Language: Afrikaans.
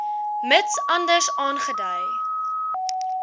mits anders aangedui